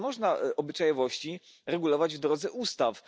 Nie można obyczajowości regulować w drodze ustaw.